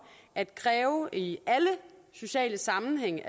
at kræve at man i alle sociale sammenhænge